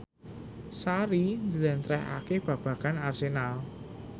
Sari njlentrehake babagan Arsenal